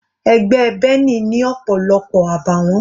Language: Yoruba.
Ẹgbẹ́ Benny ni ọ̀pọ̀lọpọ̀ àbàwọ́n.